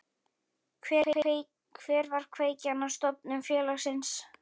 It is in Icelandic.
Hver var kveikjan að stofnun félagsins?